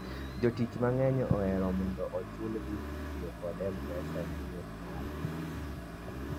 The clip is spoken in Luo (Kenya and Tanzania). jotich mang'eny ohero mondo ochul gi kitiyo kod mpesa ne yot mare